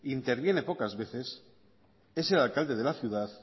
interviene pocas veces es el alcalde de la ciudad